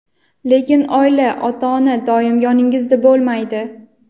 Lekin oila, ota-ona doim yoningizda bo‘lmaydi.